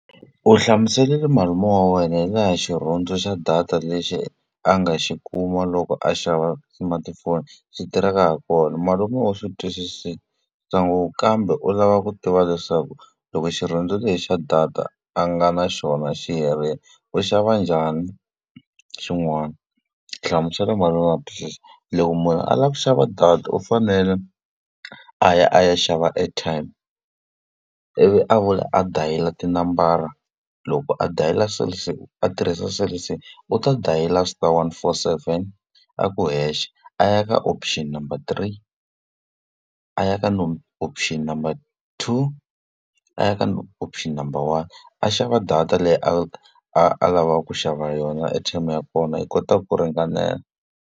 U hlamuserile malume hi laha xirhundzu xa data lexi a nga xi kuma loko a xava smartphone xi tirhaka ha kona. Malume u swi twisisa ngopfu kambe u lava ku tiva leswaku loko xirhundzu lexi xa data a nga na xona xi herile, u xava njani xin'wana. Hlamusela malume a swi twisisa. Loko munhu a lava ku xava data u fanele a ya a ya xava airtime, ivi a vuya a dayila tinambara. Loko a dayila Cell C a tirhisa Cell C, u ta dayila star one four seven a ku hexe, a ya ka option number three, a ya ka option number two, a ya ka option number one. A xava data leyi a a a lavaka ku xava yona airtime ya kona, yi kota ku ringanela.